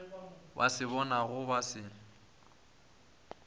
ba se bonago ba se